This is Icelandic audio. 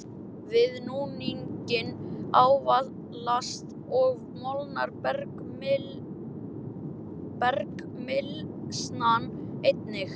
Við núninginn ávalast og molnar bergmylsnan einnig.